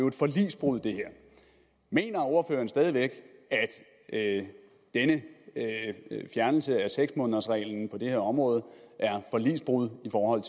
et forligsbrud mener ordføreren stadig væk at denne fjernelse af seks månedersreglen på det her område er forligsbrud i forhold